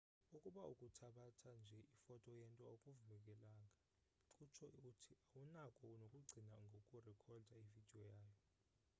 ukuba ukuthabatha nje ifoto yento akuvumelekanga kutsho uthi awunako nokucinga ngokurekhoda ividiyo yayo